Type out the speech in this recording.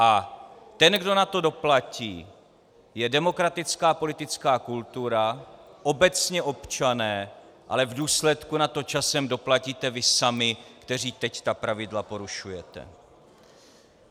A ten, kdo na to doplatí, je demokratická politická kultura, obecně občané, ale v důsledku na to časem doplatíte vy sami, kteří teď ta pravidla porušujete.